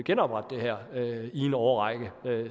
genoprette det her i en årrække det